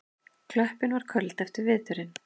Klöppin var köld eftir veturinn.